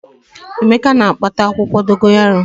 Emeka na-akpata akwukwo dogoyaro